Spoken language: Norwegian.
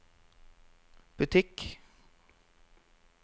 butikk